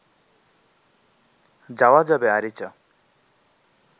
যাওয়া যাবে আরিচা